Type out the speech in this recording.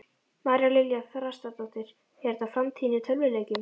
María Lilja Þrastardóttir: Er þetta framtíðin í tölvuleikjum?